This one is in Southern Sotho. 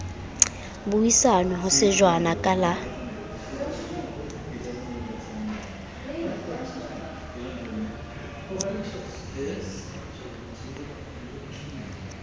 buisanwe ho shejwana ka la